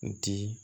N di